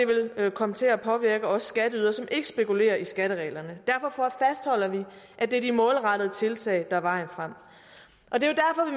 vil komme til at påvirke os skatteydere som ikke spekulerer i skattereglerne derfor fastholder vi at det er de målrettede tiltag der er vejen frem og det